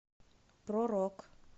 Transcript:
про рок